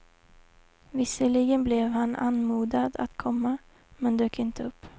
Visserligen blev han anmodad att komma, men dök inte upp.